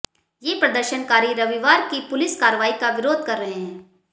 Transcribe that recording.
ये प्रदर्शनकारी रविवार की पुलिस कार्रवाई का विरोध कर रहे हैं